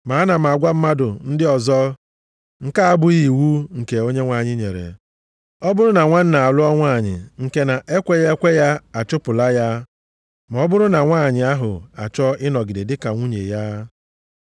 Ma ana m agwa mmadụ ndị ọzọ (nke a abụghị iwu nke Onyenwe anyị nyere). Ọ bụrụ na nwanna alụọ nwanyị nke na-ekweghị ekwe, ya achụpụla ya ma ọ bụrụ na nwanyị ahụ achọọ ịnọgide dịka nwunye ya.